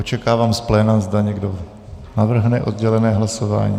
Očekávám z pléna, zda někdo navrhne oddělené hlasování.